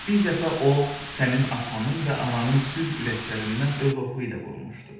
Bir dəfə o sənin atanın və ananın düz ürəklərindən öz oxu ilə vurmuşdu.